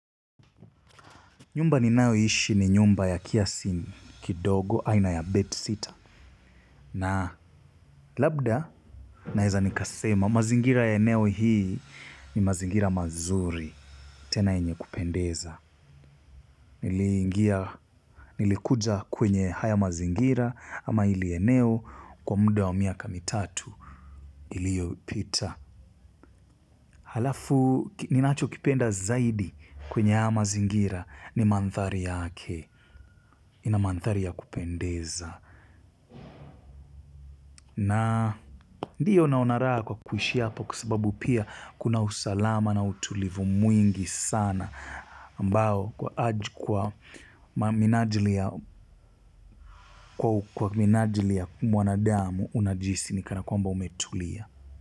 Nyumba ni nayo ishi ni nyumba ya kiasi kidogo, aina ya bed sita. Na labda naweza nikasema mazingira ya eneo hii ni mazingira mazuri. Tena yenye kupendeza. Nilikuja kwenye haya mazingira ama hili eneo kwa muda wa miaka mitatu iliyo pita. Halafu ninacho kipenda zaidi kwenye haya mazingira ni manthari yake. Inamandhari ya kupendeza na ndiyo naonaraha kwa kuishi hapa kwasababu pia kuna usalama na utulivu mwingi sana ambao kwa minajili ya kwa minajili ya mwanadamu unajihisi ni kana kwamba umetulia.